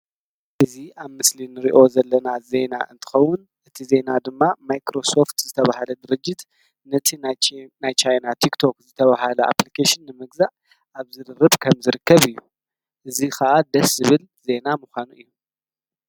እዚ ኣብ ምስሊ እንርእዮ ዘለና ዜና እንትከውን እቲ ዜና ድማ ማይክሮ ሶፈት ዝተባሃለ ድርጅት ነቲ ናይ ቻይና ቲክቶክ ዝተባሃለ ኣፕሊኬሽን ንምግዛእ ኣብ ዝርርብ ከም ዝርከብ እዩ። እዚ ከዓ ደስ ዝብል ዜና ምኳኑ እዩ።